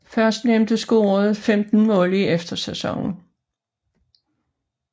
Førstnævnte scorede 15 mål i efterårssæsonen